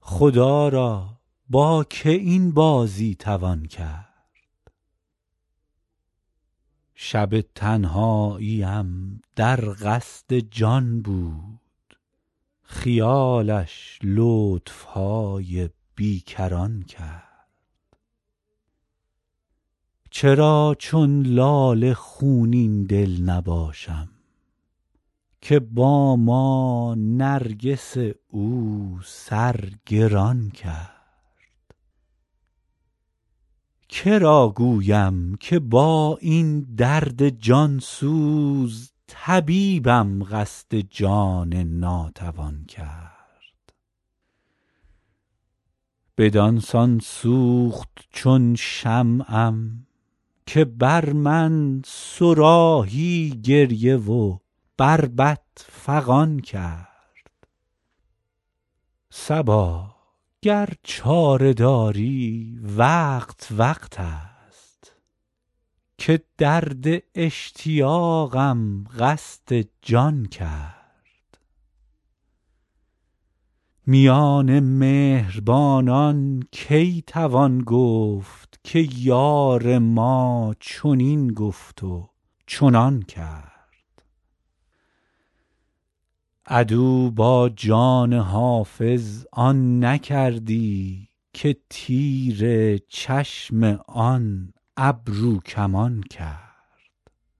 خدا را با که این بازی توان کرد شب تنهاییم در قصد جان بود خیالش لطف های بی کران کرد چرا چون لاله خونین دل نباشم که با ما نرگس او سر گران کرد که را گویم که با این درد جان سوز طبیبم قصد جان ناتوان کرد بدان سان سوخت چون شمعم که بر من صراحی گریه و بربط فغان کرد صبا گر چاره داری وقت وقت است که درد اشتیاقم قصد جان کرد میان مهربانان کی توان گفت که یار ما چنین گفت و چنان کرد عدو با جان حافظ آن نکردی که تیر چشم آن ابروکمان کرد